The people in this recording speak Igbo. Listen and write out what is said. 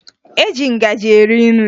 E ji ngaji eri nri